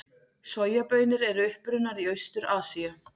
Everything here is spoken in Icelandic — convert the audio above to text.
Sojabaunir eru upprunnar í Austur-Asíu.